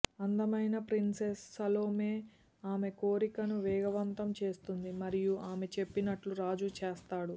అందమైన princess Salome ఆమె కోరికను వేగవంతం చేస్తుంది మరియు ఆమె చెప్పినట్లు రాజు చేస్తాడు